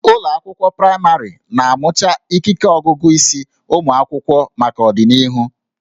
Ụlọ akwụkwọ praịmarị na-amụcha ikike ọgụgụ isi ụmụ akwụkwọ maka ọdịnihu